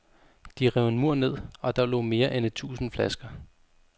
De rev en mur ned, og der lå mere end et tusinde flasker.